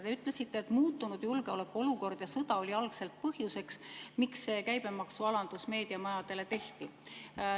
Te ütlesite, et muutunud julgeolekuolukord ja sõda olid algselt põhjuseks, miks meediamajadele käibemaksualandus tehti.